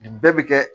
Nin bɛɛ bi kɛ